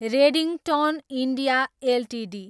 Redington India Ltd